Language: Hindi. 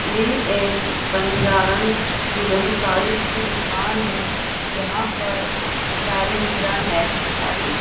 ये एक बंजारन दुल्हन साड़ीस की दुकान है यहां पर साड़ी वगैरा नेट की साड़ी--